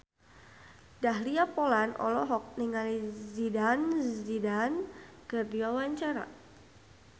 Dahlia Poland olohok ningali Zidane Zidane keur diwawancara